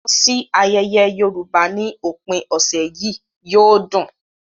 Lọ sí ayẹyẹ Yorùbá ní òpin ọ̀sẹ̀ yìí - yóò dùn!